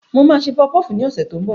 N ó ṣe pọfupọ́ọ̀fù ní ọ̀sẹ̀ tó ń bọ̀